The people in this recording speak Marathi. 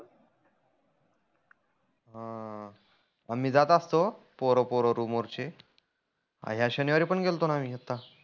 अं आम्ही जात असतो पोरं पोरं रूम वरचे. ह्या शनिवारी पण गेलतोना आता.